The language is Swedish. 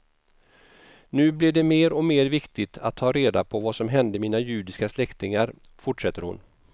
Nu blev det mer och mer viktigt att ta reda på vad som hände mina judiska släktingar, fortsätter hon.